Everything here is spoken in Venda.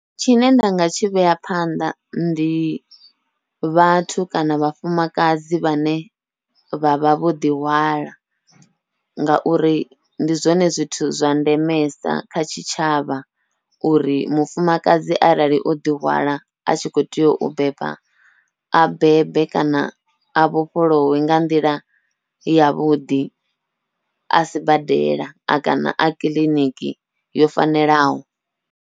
Tshine nda nga tshi vhea phanḓa ndi vhathu kana vhafumakadzi vhane vha vha vho ḓihwala, ngauri ndi zwone zwithu zwa ndemesa kha tshitshavha uri mufumakadzi arali o ḓihwala a tshi khou tea u beba, a bebe kana a vhofholowe nga nḓila yavhuḓi a sibadela a kana a kiḽiniki yo fanelaho.